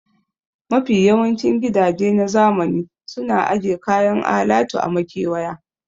Mafi yawancin gidaje na zamani suna aje kayan alatu a makewaya